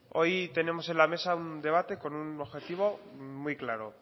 hoy tenemos en la mesa un debate con un objetivo muy claro